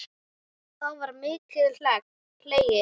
Þá var mikið hlegið.